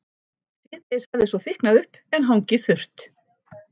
Síðdegis hafði svo þykknað upp en hangið þurrt.